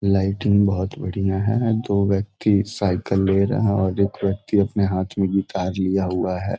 Lighting बहुत बढ़िया है दो व्यक्ति साइकिल ले रहा और एक व्यक्ति अपने हाथ में गिटार लिया हुआ है।